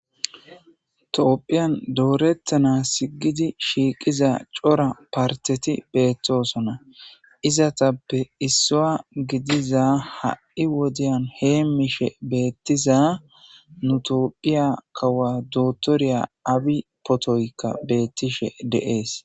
Tophiyan doretanas gid shiqiza cora paritet betosona, izetappe isuwa gidiza ha' wodiyan hemishe betiza nu bita kawuwa dokiteriya abiy potoyka betishe de'es.